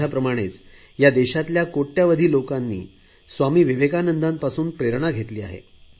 माझ्याप्रमाणेच या देशातल्या कोटयावधी लोकांनी स्वामी विवेकानंदापासून प्रेरणा घेतली आहे